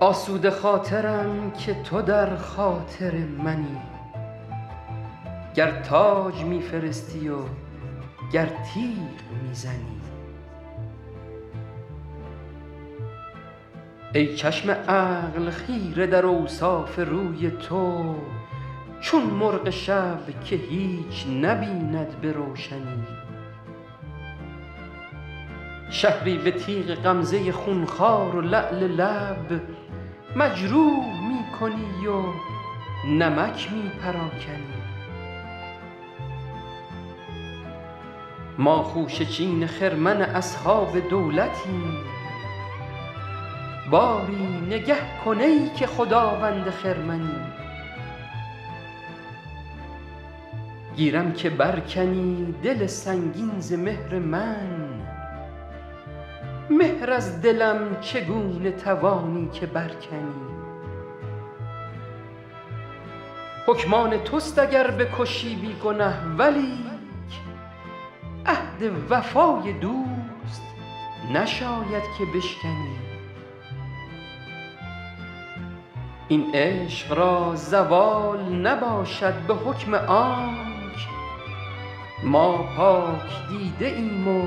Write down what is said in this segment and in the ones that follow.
آسوده خاطرم که تو در خاطر منی گر تاج می فرستی و گر تیغ می زنی ای چشم عقل خیره در اوصاف روی تو چون مرغ شب که هیچ نبیند به روشنی شهری به تیغ غمزه خونخوار و لعل لب مجروح می کنی و نمک می پراکنی ما خوشه چین خرمن اصحاب دولتیم باری نگه کن ای که خداوند خرمنی گیرم که بر کنی دل سنگین ز مهر من مهر از دلم چگونه توانی که بر کنی حکم آن توست اگر بکشی بی گنه ولیک عهد وفای دوست نشاید که بشکنی این عشق را زوال نباشد به حکم آنک ما پاک دیده ایم و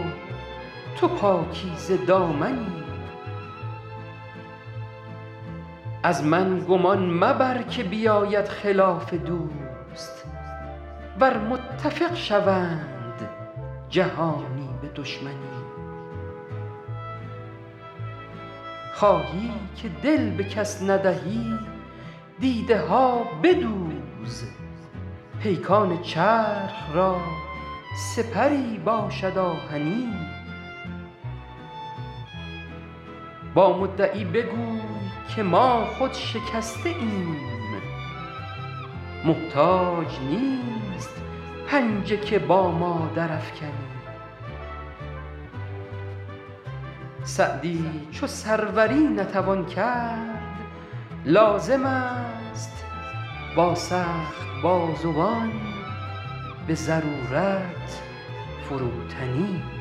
تو پاکیزه دامنی از من گمان مبر که بیاید خلاف دوست ور متفق شوند جهانی به دشمنی خواهی که دل به کس ندهی دیده ها بدوز پیکان چرخ را سپری باشد آهنی با مدعی بگوی که ما خود شکسته ایم محتاج نیست پنجه که با ما درافکنی سعدی چو سروری نتوان کرد لازم است با سخت بازوان به ضرورت فروتنی